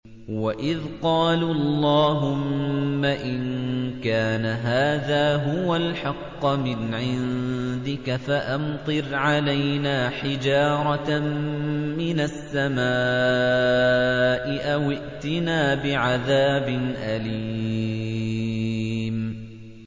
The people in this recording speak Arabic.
وَإِذْ قَالُوا اللَّهُمَّ إِن كَانَ هَٰذَا هُوَ الْحَقَّ مِنْ عِندِكَ فَأَمْطِرْ عَلَيْنَا حِجَارَةً مِّنَ السَّمَاءِ أَوِ ائْتِنَا بِعَذَابٍ أَلِيمٍ